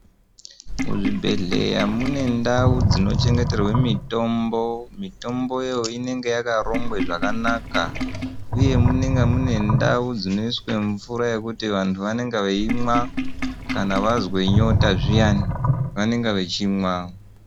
Muzvibhehlerya mune ndau dzinochengeterwe mitombo. Mitomboyo inenga yakarongwe zvakanaka uye munenga mune ndau dzinoiswe mvura yekuti antu vanenge veyimwa kana vazwe nyota zviyani vanenge vechimwa